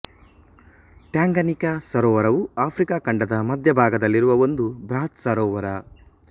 Tanganyika ಸರೋವರವು Africa ಖಂಡದ ಮಧ್ಯ ಭಾಗದಲ್ಲಿರುವ ಒಂದು ಬೃಹತ್ ಸರೋವರ